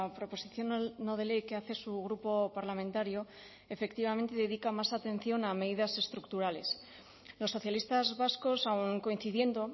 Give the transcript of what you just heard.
proposición no de ley que hace su grupo parlamentario efectivamente dedica más atención a medidas estructurales los socialistas vascos aun coincidiendo